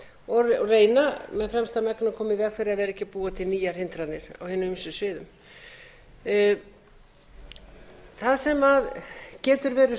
og reyna með fremsta megni að koma í veg fyrir að vera ekki að búa til nýjar hindranir á hinum ýmsu sviðum það sem getur beðið